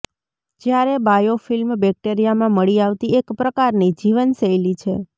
જ્યારે બાયોફિલ્મ બેક્ટેરિયામાં મળી આવતી એક પ્રકારની જીવનશૈલી છે